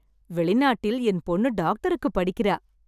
வெளிநாட்டில் என் பொண்ணு டாக்டருக்கு படிக்கிறா.